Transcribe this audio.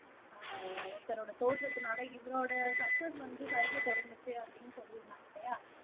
ஆஹ் தன்னோட தோற்றத்துனால இவரோட சக்ஸஸ் வந்து சரியா தொடங்குச்சு அப்படின்னு சொல்லியிருந்தாக இல்லையா